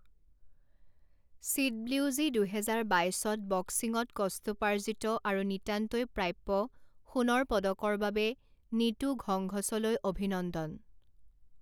CWG দুহেজাৰ বাইছত বক্সিঙত কষ্টোপাৰ্জিত আৰু নিতান্তই প্ৰাপ্য সোণৰ পদকৰ বাবে নীতু ঘংঘছলৈ অভিনন্দন।